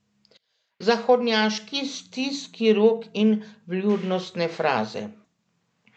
Zahodnjaški stiski rok in vljudnostne fraze.